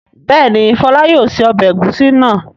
Bẹ́ẹ̀ni, Fọlá yóò se ọbẹ̀ ẹ̀gúsí náà.